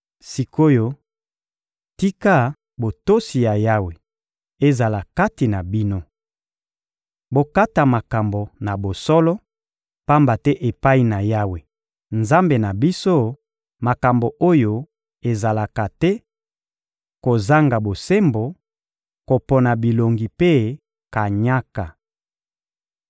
Sik’oyo, tika botosi ya Yawe ezala kati na bino. Bokata makambo na bosolo; pamba te epai na Yawe, Nzambe na biso, makambo oyo ezalaka te: kozanga bosembo, kopona bilongi mpe kanyaka.»